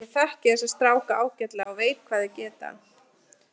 Ég þekki þessa stráka ágætlega og veit hvað þeir geta.